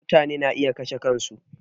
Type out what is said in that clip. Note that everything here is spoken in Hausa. Mutane na iya kashe kan su